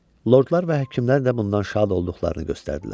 Lordlar və həkimlər də bundan şad olduqlarını göstərdilər.